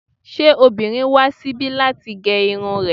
Ṣé obìnrin wá síbi láti gé irun rẹ̀?